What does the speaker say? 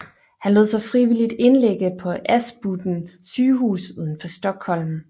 Han lod sig frivilligt indlægge på Aspudden sygehus udenfor Stockholm